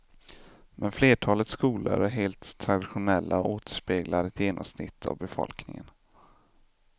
Men flertalet skolor är helt traditionella och återspeglar ett genomsnitt av befolkningen.